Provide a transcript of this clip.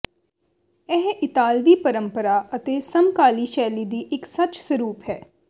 ਇਹ ਇਤਾਲਵੀ ਪਰੰਪਰਾ ਅਤੇ ਸਮਕਾਲੀ ਸ਼ੈਲੀ ਦੀ ਇੱਕ ਸੱਚ ਸਰੂਪ ਹੈ